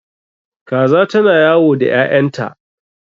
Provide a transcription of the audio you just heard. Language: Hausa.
Kaza ta na yawo da ƴaƴanta